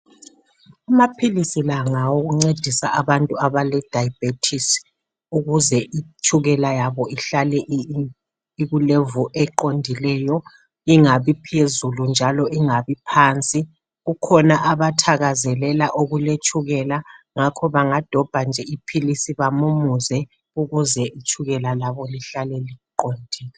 Amaphilisi lawa ngawokuncedisa abantu abalesifo setshukela ukuze ihlale isezingeni eliqondileyo ingabi phezulu kumbe phansi. kukhona abathakazelela okuletshukela bangadobha iphilisi bamumuze ukuze itshukela labo lihlale liqondile.